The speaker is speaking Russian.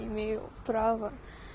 имею право